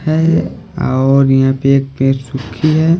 है और यहां पे एक पेड़ सुखी हैं।